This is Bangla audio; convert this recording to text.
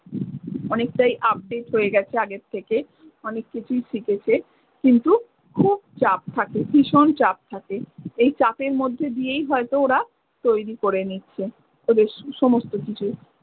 অনেকটাই update হয়ে গেছে আগের থেকে, অনেক কিছুই শিখেছে কিন্তু খুব চাপ থাকে, ভীষণ চাপ থাকে। এই চাপের মধ্যে দিয়েই হয়ত ওরা তৈরী করে নিচ্ছে। ওদের স~ সমস্ত কিছু।